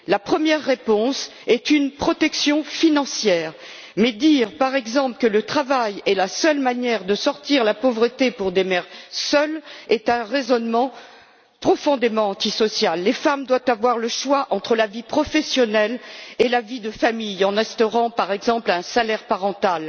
La première réponse est une protection financière, mais le fait de dire, par exemple, que le travail est la seule manière de sortir de la pauvreté pour les mères seules est un raisonnement profondément antisocial. Il faut permettre aux femmes de choisir entre la vie professionnelle et la vie de famille en instaurant, par exemple, un salaire parental.